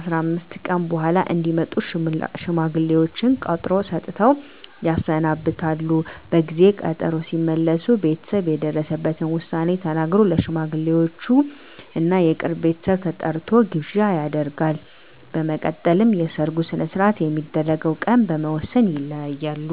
15 ቀን በኃላ እንዲመጡ ሽማግሌዎቹን ቀጠሮ ሰጥተው ያሰናብታሉ። በጊዜ ቀጠሮው ሲመለሱ ቤተሰብ የደረሰበትን ዉሳኔ ተናግሮ፣ ለሽማግሌወቹም እና የቅርብ ቤተሰብ ተጠርቶ ግብዣ ይደረጋል። በመቀጠልም የሰርጉ ሰነሰርአት የሚደረግበት ቀን በመወስን ይለያያሉ።